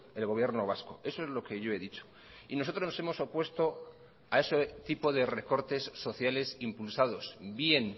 el gobierno vasco eso es lo que yo he dicho y nosotros nos hemos opuesto a ese tipo de recortes sociales impulsados bien